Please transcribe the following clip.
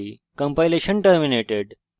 compilation terminated